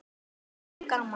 Goggur og gaman.